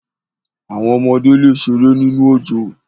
Àwọn ọmọdé le sẹ̀rẹ̀ nínu ọjọ́.